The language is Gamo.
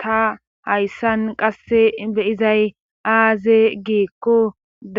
ta hayssan qasse beyizay aaze giikko